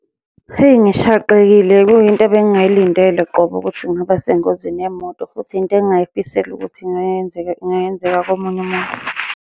Hheyi, ngishaqekile kuyinto ebengingayilindele qobo ukuthi ngingaba sengozini yemoto, futhi yinto engingayifiseli ukuthi ingayenzeka ingayenzeka komunye umuntu.